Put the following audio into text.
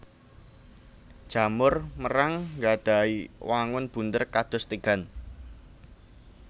Jamur merang nggadhahi wangun bunder kados tigan